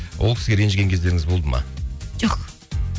ол кісіге ренжіген кездеріңіз болды ма жоқ